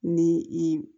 Ni i